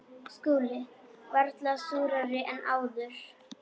SKÚLI: Varla súrari en áður.